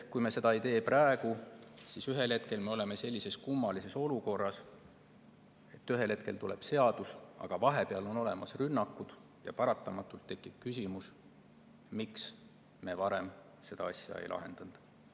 Kui me seda ei tee praegu, siis ühel hetkel me oleme kummalises olukorras, et seadus on tulnud, aga vahepeal on olnud rünnakud ja paratamatult tekib küsimus, miks me varem seda asja ei lahendanud.